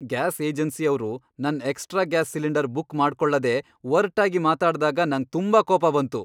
Gas ಏಜೆನ್ಸಿಯವ್ರು ನನ್ extra gas cylinder book ಮಾಡ್ಕೊಳ್ಳದೇ ಒರ್ಟಾಗಿ ಮಾತಾಡ್ದಾಗ ನಂಗ್ ತುಂಬಾ ಕೋಪ ಬಂತು.